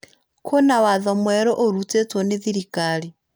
Kwĩna watho mwerũ ũrutĩtwo nĩ thirikari